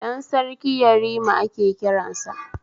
Ɗan Sarki yarima ake kiransa